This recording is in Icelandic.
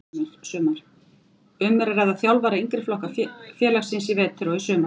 Um er að ræða þjálfara fyrir yngri flokka félagsins í vetur og í sumar.